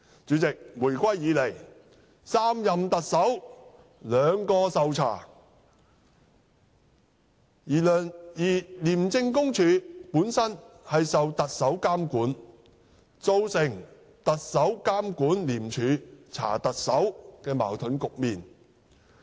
主席，回歸以來3任的特首中兩人受調查，而廉署本身受特首監管，造成"特首監管廉署查特首"的矛盾局面。